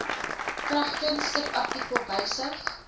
kragtens subartikel wysig